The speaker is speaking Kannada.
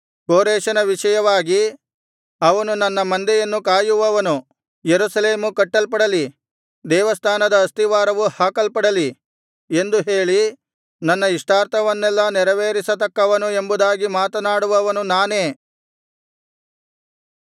ಕೋರೆಷನ ವಿಷಯವಾಗಿ ಅವನು ನನ್ನ ಮಂದೆಯನ್ನು ಕಾಯುವವನು ಯೆರೂಸಲೇಮು ಕಟ್ಟಲ್ಪಡಲಿ ದೇವಸ್ಥಾನದ ಅಸ್ತಿವಾರವು ಹಾಕಲ್ಪಡಲಿ ಎಂದು ಹೇಳಿ ನನ್ನ ಇಷ್ಟಾರ್ಥವನ್ನೆಲ್ಲಾ ನೆರವೇರಿಸತಕ್ಕವನು ಎಂಬುದಾಗಿ ಮಾತನಾಡುವವನು ನಾನೇ